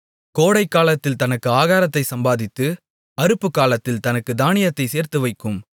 கோடைக்காலத்தில் தனக்கு ஆகாரத்தைச் சம்பாதித்து அறுப்புக்காலத்தில் தனக்குத் தானியத்தைச் சேர்த்துவைக்கும்